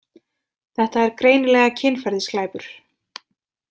Þetta er greinilega kynferðisglæpur.